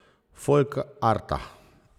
Folkarta.